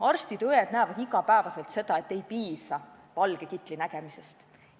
Arstid ja õed näevad iga päev seda, et inimesele ei piisa valge kitli nägemisest.